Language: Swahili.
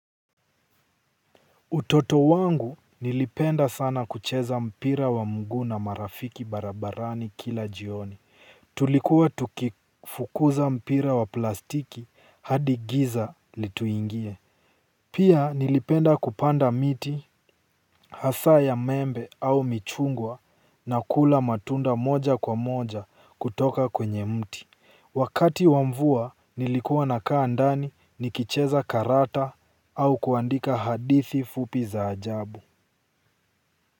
Utoto wangu nilipenda sana kucheza mpira wa mguu na marafiki barabarani kila jioni. Tulikuwa tukifukuza mpira wa plastiki hadi giza lituingie. Pia nilipenda kupanda miti, hasa ya maembe au michungwa na kula matunda moja kwa moja kutoka kwenye mti. Wakati wa mvua nilikuwa nakaa ndani nikicheza karata au kuandika hadithi fupi za ajabu.